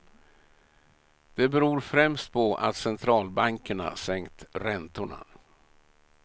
Det beror främst på att centralbankerna sänkt räntorna.